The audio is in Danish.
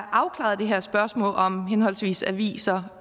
afklaret det her spørgsmål om henholdsvis aviser